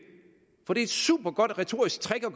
for det er et supergodt retorisk trick at